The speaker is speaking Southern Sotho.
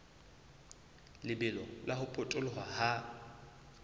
lebelo la ho potoloha ha